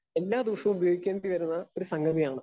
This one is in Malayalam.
സ്പീക്കർ 2 എല്ലാദിവസവും ഉപയോഗിക്കേണ്ടിവരുന്ന ഒരു സംഗതിയാണ്.